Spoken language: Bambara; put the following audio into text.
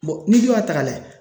n'i dun y'a ta k'a lajɛ